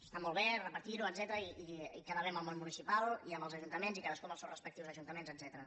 està molt bé repetir·ho etcètera i quedar bé amb el món municipal i amb els ajuntaments i cadascú amb els seus respectius ajuntaments etcètera